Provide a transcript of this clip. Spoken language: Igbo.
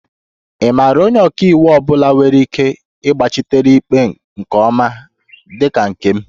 Ị maara onye ọka iwu ọ bụla nwere ike ịgbachitere ikpe nke ọma dị ka nke m?